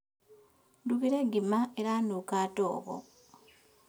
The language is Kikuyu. Ndugire ngima ĩranunga ndogo